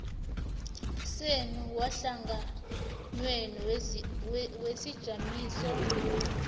senu wehlanganwenu wesijamiso